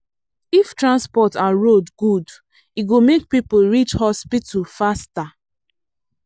if transport and road good e go make people reach hospital faster.